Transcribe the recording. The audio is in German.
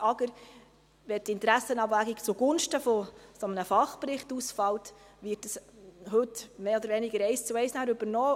Wenn die Interessenabwägung zugunsten eines Fachberichts ausfällt, wird dies mehr oder weniger eins zu eins übernommen.